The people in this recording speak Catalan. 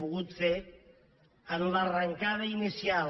pogut fer en l’arrencada inicial